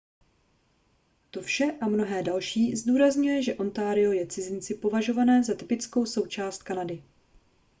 to vše a mnohé další zdůrazňuje že ontario je cizinci považované za typickou součást kanady